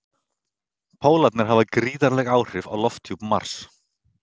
Pólarnir hafa gríðarleg áhrif á lofthjúp Mars.